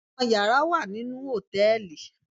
Àwọn yàrá wà nínú hòtẹ́ẹ̀lì